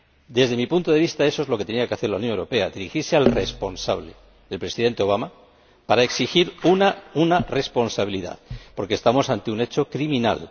Desde mi punto de vista, eso es lo que tenía que hacer la Unión Europea dirigirse al responsable, el Presidente Obama, para exigir una responsabilidad, porque estamos ante un hecho criminal.